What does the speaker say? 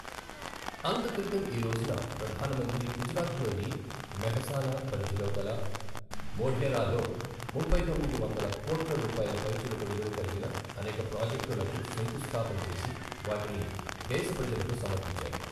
అంతక్రితం ఈ రోజున, ప్రధాన మంత్రి గుజరాత్ లోని మెహసానా పరిధిలో గల మొఢేరా లో ముప్పై తొమ్మిది వందల కోట్ల రూపాయల పైచిలుకు విలువ కలిగిన అనేక ప్రాజెక్టులకు శంకుస్థాపన చేసి వాటిని దేశ ప్రజలకు సమర్పించారు.